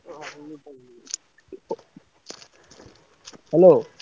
Hello।